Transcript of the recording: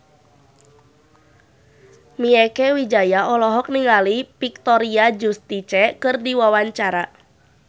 Mieke Wijaya olohok ningali Victoria Justice keur diwawancara